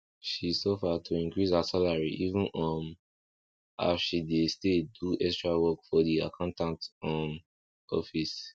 she suffer to increase her salary even um as she dey stay do extra work for the accountant um office